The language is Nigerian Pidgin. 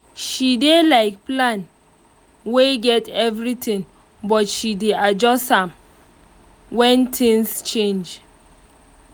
she dey like plan wey get everything but she dey adjust am when things change